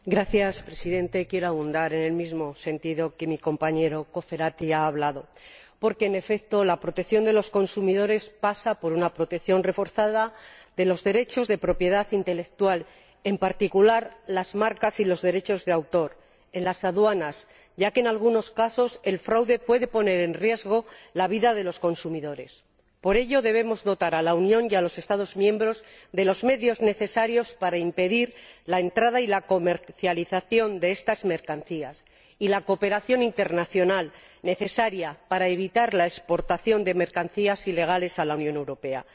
Señor Presidente, quiero abundar en el mismo sentido en que ha hablado mi compañero, el señor Cofferati, porque, en efecto, la protección de los consumidores pasa por una protección reforzada de los derechos de propiedad intelectual, en particular las marcas y los derechos de autor en las aduanas, ya que, en algunos casos, el fraude puede poner en riesgo la vida de los consumidores. Por ello, debemos dotar a la Unión y a los Estados miembros de los medios necesarios para impedir la entrada y la comercialización de estas mercancías y fomentar la cooperación internacional necesaria para evitar la exportación de mercancías ilegales a la Unión Europea.